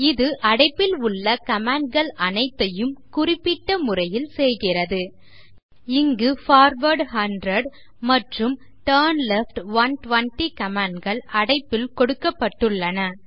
இது அடைப்பில் உள்ள கமாண்ட்ஸ் அனைத்தையும் குறிப்பிட்டுள்ள முறையில் செய்கிறது இங்கு பார்வார்ட் 100 மற்றும் டர்ன்லெஃப்ட் 120 கமாண்ட்ஸ் அடைப்பில் கொடுக்கப்பட்டுள்ளன